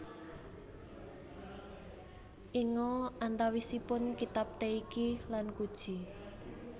Inga antawisipun kitab Teiki lan Kuji